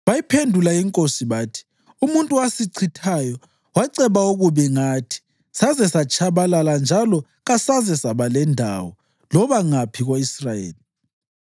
Bayiphendula inkosi bathi, “Umuntu owasichithayo waceba okubi ngathi saze satshabalala njalo kasaze saba lendawo loba ngaphi ko-Israyeli,